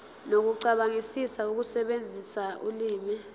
nokucabangisisa ukusebenzisa ulimi